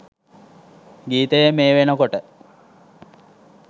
ගීතයේ මේ වෙනකොට